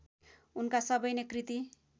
उनका सबै नै कृति